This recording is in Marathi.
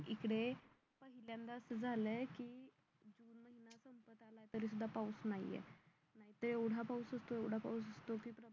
इकडे यंदा असं झालंय की तरीसुद्धा पाऊस नाहीये इथे एवढा पाऊस होतो एवढा पाऊस होतो की